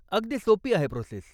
अगदी सोपी आहे प्रोसेस.